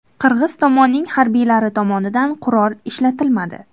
Qirg‘iz tomonning harbiylari tomonidan qurol ishlatilmadi.